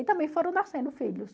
E também foram nascendo filhos.